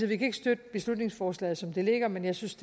vi kan ikke støtte beslutningsforslaget som det ligger men jeg synes